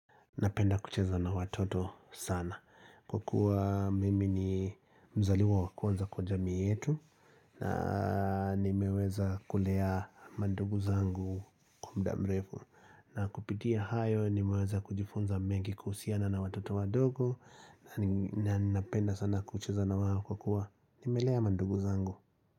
Napenda kucheza na watoto sana. Kukua mimi ni mzaliwa wa kwanza kwa jamii yetu. Na nimeweza kulea mandugu zangu kwa mda mrefu. Na kupitia hayo, nimeweza kujifunza mengi kuhusiana na watoto wadogo. Na ninapenda sana kucheza na wao kwa kua nimelea mandugu zangu.